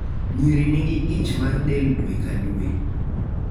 Nyiri nigi ich mar del dwe ka dwe.